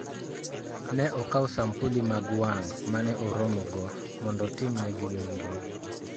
Ne okaw sampuli mag wang' ma ne oromogo mondo otimnegi nonro.